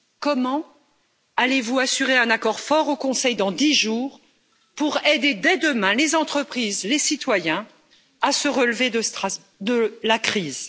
Comment allez vous assurer un accord fort au Conseil, dans dix jours, pour aider, dès demain, les entreprises et les citoyens à se relever de la crise?